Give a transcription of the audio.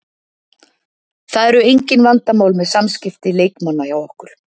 Það eru engin vandamál með samskipti leikmanna hjá okkur.